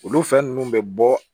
Olu fɛn nunnu bɛ bɔ